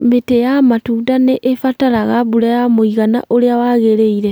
mĩtĩ ya matunda nĩ ĩbataraga mbura ya mũigana ũrĩa wagĩrĩire.